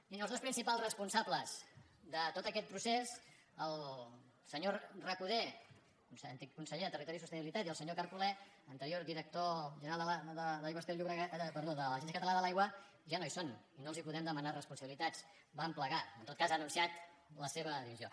miri els dos principals responsables de tot aquest procés el senyor recoder antic conseller de territori i sostenibilitat i el senyor carcolé anterior director general de l’agència catalana de l’aigua ja no hi són i no els podem demanar responsabilitats van plegar en tot cas ha anunciat la seva dimissió